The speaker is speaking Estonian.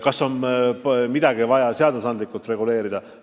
Kas selleks on midagi vaja seadusandlikult reguleerida?